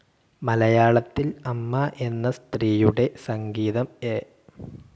മലയാളത്തിൽ അമ്മ എന്ന സ്ത്രീയുടെ സംഗീതം എ.